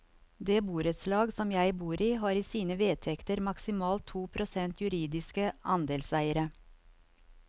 Det borettslag som jeg bor i, har i sine vedtekter maksimalt to prosent juridiske andelseiere.